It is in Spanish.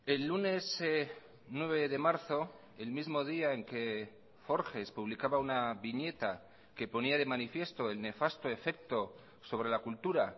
el lunes nueve de marzo el mismo día en que forges publicaba una viñeta que ponía de manifiesto el nefasto efecto sobre la cultura